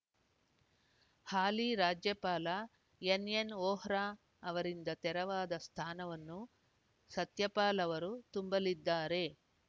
ಹಾಲಿ ರಾಜ್ಯಪಾಲ N N ಅವರಿಂದ ತೆರವಾದ ಸ್ಥಾನವನ್ನು ಸತ್ಯಪಾಲ್‌ ಅವರು ತುಂಬಲಿದ್ದಾರೆ